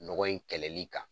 Nɔgɔ in kɛlɛli kan.